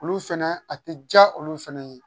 Olu fɛnɛ a tɛ diya olu fɛnɛ ye